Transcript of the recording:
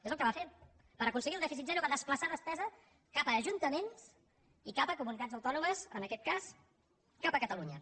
és el que va fer per aconseguir el dèficit zero va desplaçar despesa cap a ajuntaments i cap a comunitats autònomes en aquest cas cap a catalunya